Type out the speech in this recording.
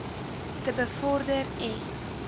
te bevorder en